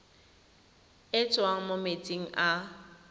e tswang mo metsing a